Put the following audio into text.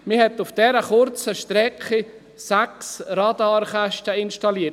Man hat auf dieser kurzen Strecke sechs Radarkästen installiert.